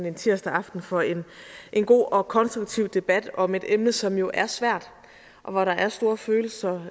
en tirsdag aften for en god og konstruktiv debat om et emne som jo er svært og hvor der er store følelser